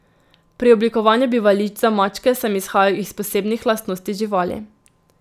Pri oblikovanju bivališč za mačke sem izhajal iz posebnih lastnosti živali.